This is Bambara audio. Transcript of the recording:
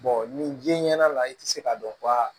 nin jɛnɲɛ la i tɛ se k'a dɔn wa